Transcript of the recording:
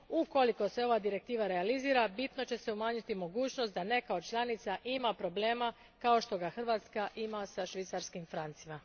Ukoliko se ova direktiva realizira bitno će se umanjiti mogućnost da neka od članica ima problema kao što ga Hrvatska ima sa švicarskim francima.